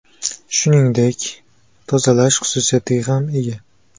Shuningdek, tozalash xususiyatiga ham ega.